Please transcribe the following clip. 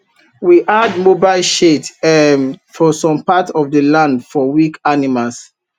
we add mobile shade um for some part of the land for weak animals